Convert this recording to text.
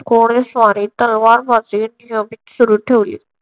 घोडेस्वारी तलवारबाजी नियमित सुरु ठेवली.